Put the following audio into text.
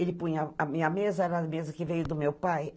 Ele punha a minha mesa, era a mesa que veio do meu pai.